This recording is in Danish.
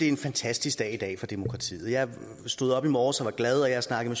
en fantastisk dag i dag for demokratiet jeg stod op i morges og var glad og jeg har snakket